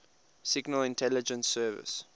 signal intelligence service